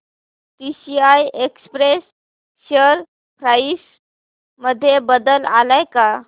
TCI express share price मध्ये बदल आलाय का